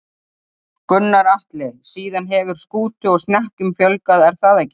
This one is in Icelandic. Gunnar Atli: Síðan hefur skútu og snekkjum fjölgað er það ekki?